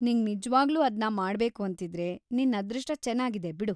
ನಿಂಗ್ ನಿಜ್ವಾಗ್ಲೂ ಅದ್ನ ಮಾಡ್ಬೇಕು ಅಂತಿದ್ರೆ, ನಿನ್‌ ಅದೃಷ್ಟ ಚೆನಾಗಿದೆ ಬಿಡು.